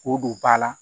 K'o don ba la